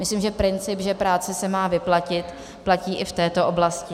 Myslím, že princip, že práce se má vyplatit, platí i v této oblasti.